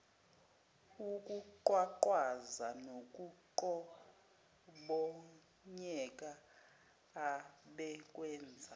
ukuqhwaqhwaza nokuqhobonyeka abekwenza